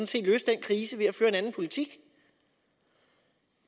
set løse den krise ved at føre en anden politik